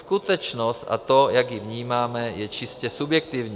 Skutečnost a to, jak ji vnímáme, je čistě subjektivní.